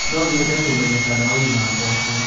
No nyende kũmenya kana ũrĩ na gwacĩ